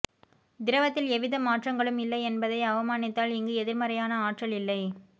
திரவத்தில் எவ்வித மாற்றங்களும் இல்லை என்பதை அவமானித்தால் இங்கு எதிர்மறையான ஆற்றல் இல்லை